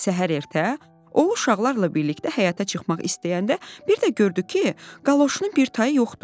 Səhər ertə o uşaqlarla birlikdə həyətə çıxmaq istəyəndə bir də gördü ki, qaloşunun bir tayı yoxdur.